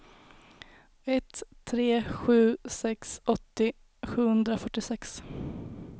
ett tre sju sex åttio sjuhundrafyrtiosex